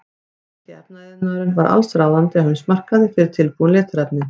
Þýski efnaiðnaðurinn var allsráðandi á heimsmarkaði fyrir tilbúin litarefni.